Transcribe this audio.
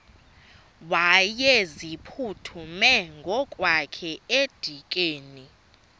wayeziphuthume ngokwakhe edikeni